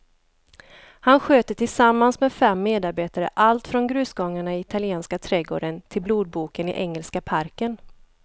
Han sköter tillsammans med fem medarbetare allt från grusgångarna i italienska trädgården till blodboken i engelska parken.